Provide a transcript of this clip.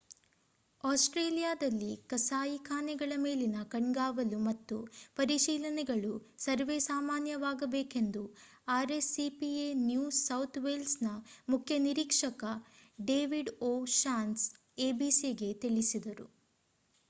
ಆಸ್ಟ್ರೇಲಿಯಾದಲ್ಲಿ ಕಸಾಯಿಖಾನೆಗಳ ಮೇಲಿನ ಕಣ್ಗಾವಲು ಮತ್ತು ಪರಿಶೀಲನೆಗಳು ಸರ್ವೇಸಾಮಾನ್ಯವಾಗಬೇಕೆಂದು rscpa ನ್ಯೂ ಸೌಥ್ ವೇಲ್ಸ್‌‌ನ ಮುಖ್ಯ ನಿರೀಕ್ಷಕ ಡೇವಿಡ್ ಓ ಷಾನ್ಸೆ abcಗೆ ತಿಳಿಸಿದರು